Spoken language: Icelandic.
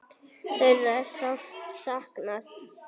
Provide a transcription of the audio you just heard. Þeirra er sárt saknað.